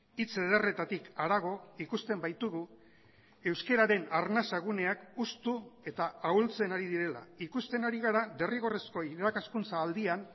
hitz ederretatik harago ikusten baitugu euskararen arnasa guneak hustu eta ahultzen ari direla ikusten ari gara derrigorrezko irakaskuntza aldian